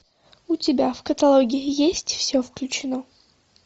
у тебя в каталоге есть все включено